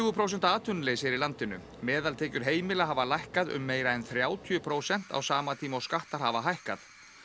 prósenta atvinnuleysi er í landinu meðaltekjur heimila hafa lækkað um meira en þrjátíu prósent á sama tíma og skattar hafa hækkað